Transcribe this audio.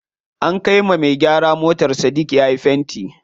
An kai wa me gyara motar Sadik yayi fenti.